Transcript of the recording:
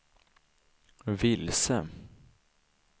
vilse